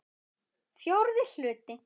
Fjórði hluti